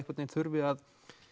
þurfi að